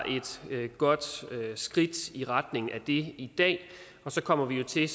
et godt skridt i retning af det i dag og så kommer vi jo til